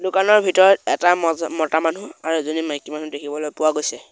দোকানৰ ভিতৰত এটা মজা মতা মানুহ আৰু এজনী মাইকী মানুহ দেখিবলৈ পোৱা গৈছে।